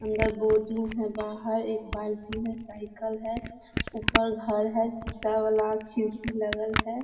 अंदर है बाहर एक बाल्टी है साइकिल है ऊपर घर है शीशा वाला खिड़की लगल है।